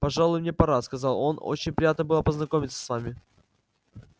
пожалуй мне пора сказал он очень приятно было познакомиться с вами